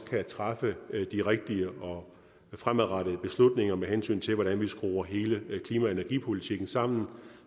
kan træffe de rigtige fremadrettede beslutninger med hensyn til hvordan vi skruer hele klima og energipolitikken sammen